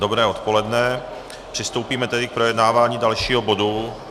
Dobré odpoledne, přistoupíme tedy k projednávání dalšího bodu.